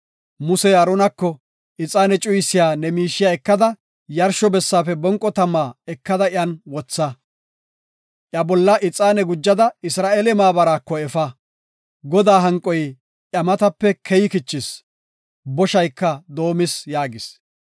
Musey Aaronako, “Ixaane cuyisiya ne miishiya ekada yarsho bessaafe bonqo tama ekada iyan wotha; iya bolla ixaane gujada Isra7eele maabaraako efa. Godaa hanqoy iya matape keyi kichis; boshayka doomis” yaagis.